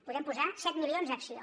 podem posar set milions a acció